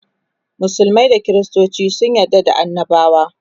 musulmai da kristoci sun yarda da annabawa